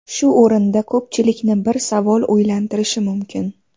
Shu o‘rinda ko‘pchilikni bir savol o‘ylantirishi mumkin.